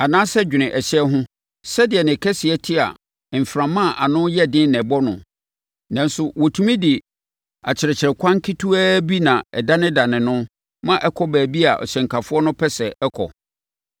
Anaasɛ dwene ɛhyɛn ho: sɛdeɛ ne kɛseɛ te a mframa a ano yɛ den na ɛbɔ no, nanso wɔtumi de akyerɛkyerɛkwan ketewaa bi na ɛdanedane no ma ɛkɔ baabi a hyɛnkafoɔ no pɛ sɛ ɛkɔ.